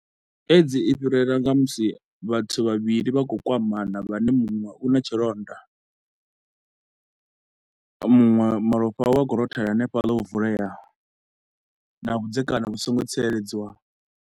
AIDS i fhirela nga musi vhathu vhavhili vha khou kwamana vhane munwe u na tshilonda, muṅwe malofha a we a khou rothela hanefhaḽa ho vuleaho na vhudzekani vhu so ngo tsireledziwaho.